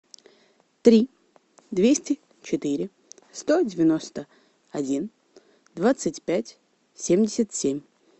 три двести четыре сто девяносто один двадцать пять семьдесят семь